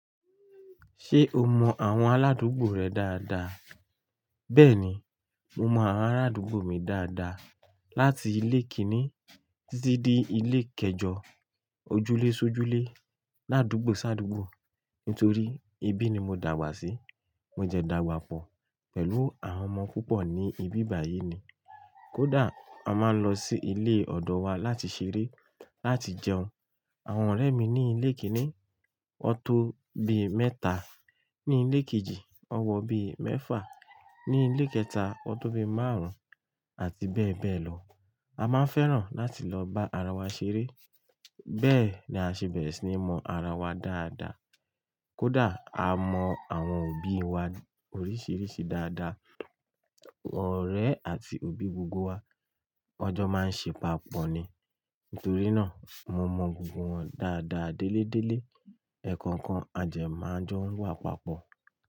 Ṣé o mọ àwọn aládùúgbò rẹ dáadáa? Bẹ́ẹ̀ni, mo mọ àwọn aládùúgbò mi dáadáa. Láti ilé kíní títí dé ilé kẹjọ, ojúlé-sójúlé, ládùúgbò-sádùúgbò. Nítorí ibí ni mo dàgbà sí. Mo dẹ dàgbà pọ̀ pẹ̀lú àwọn ọmọ púpọ̀ ní ibi báyìí ni. Kódà a máa ń lọ sí ilé ọ̀dọ̀ wa láti ṣeré, láti jẹun. Awon ọ̀rẹ́ mi ní ilé kíní, wọn tó bí mẹ́ta; ní ilé kejì, ùn wọ bí mẹ́fà; ní ilé kẹta, ọ tó bí márùn-ún àti bẹ́ẹ̀ bẹ́ẹ̀ lọ. A máa ń fẹ́ràn láti lọ bá ara wa ṣeré. Bẹ́ẹ̀ ni a ṣe bẹ̀rẹ̀ sí ní mọ ara wa dáadáa. Kódà a mọ àwọn òbí wa oríṣìíríṣìí dáadáa, ọ̀rẹ́ àti òbí gbogbo wa, wọn jọ́ máa ń ṣe papọ̀ ni. Nítorí náà mo mọ gbogbo wọn dáadáa déélé déélé. Ẹ̀ẹ̀kọ̀kan a dẹ máa n jọ wà papọ̀.